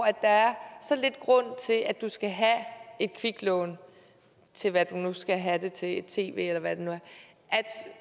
er så lidt grund til at skal have et kviklån til hvad man nu skal have det til et tv eller hvad det nu er